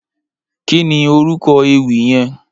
Kìní órúkò éwì yèn?